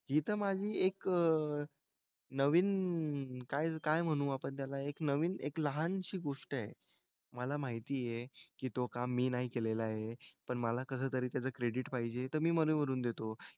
इथं माझी एक नवीन काय काय म्हणू आपण त्याला एक नवीन एक लहानशी गोष्ट आहे. मला माहिती आहे की तो काम मी नाही केलेलं आहे. पण मला कसंतरी त्याचं क्रेडिट पाहिजे तर मी मधे म्हणून देतो.